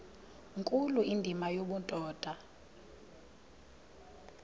nkulu indima yobudoda